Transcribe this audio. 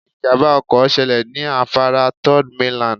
Ìjàmbá ọkọ̀ ṣẹlẹ̀ ní afárá Third mainland